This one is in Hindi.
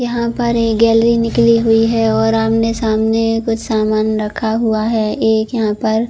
यहाँ पर ये गैलरी निकली हुई है और आमने-सामने एक सामान रखा हुआ है एक यहाँ पर--